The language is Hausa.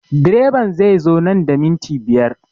Direban zai zo nan da minti biyar